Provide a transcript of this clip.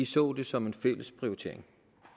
så det som en fælles prioritering